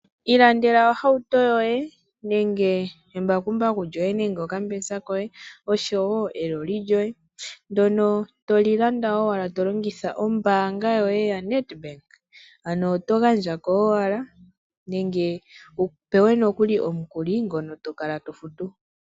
Ilandela ohauto yoye nenge embakumbaku lyoye nenge okambesa koye osho wo eloli lyoye ndono toli landa owala tolongitha ombaanga yoye yaNedbank ano oto gandja ko owala nenge wu pewe nokuli omukuli ngono to kala to futu.